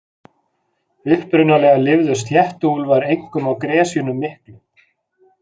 Upprunalega lifðu sléttuúlfar einkum á gresjunum miklu.